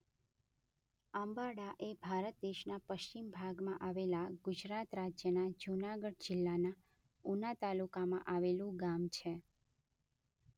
આંબાડા એ ભારત દેશના પશ્ચિમ ભાગમાં આવેલા ગુજરાત રાજ્યના જૂનાગઢ જિલ્લાના ઉના તાલુકામાં આવેલું ગામ છે